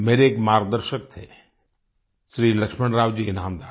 मेरे एक मार्गदर्शक थे श्री लक्ष्मणराव जी ईनामदार